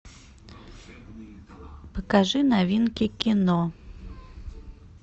покажи новинки кино